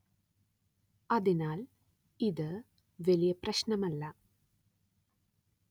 അതിനാല്‍ ഇതു വലിയ പ്രശ്നം അല്ല